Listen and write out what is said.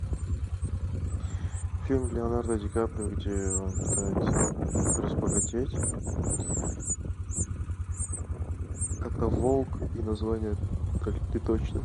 фильм леонардо ди каприо где он пытается разбогатеть как то волк и название